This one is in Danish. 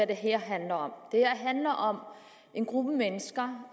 det her handler om det her handler om en gruppe mennesker